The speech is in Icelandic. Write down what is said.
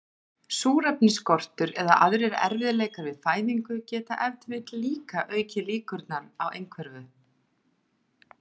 Súrefnisskortur eða aðrir erfiðleikar við fæðingu geta ef til vill líka aukið líkurnar á einhverfu.